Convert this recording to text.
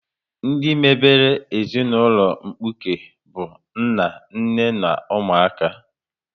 Ndị mebere ezinaụlọ mkpuke bụ nna, nne na ụmụaka